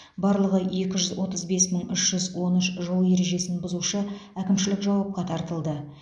барлығы екі жүз отыз бес мың үш жүз он үш жол ережесін бұзушы әкімшілік жауапқа тартылды